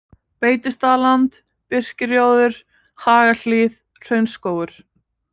Beitistaðland, Birkirjóður, Hagahlíð, Hraunskógur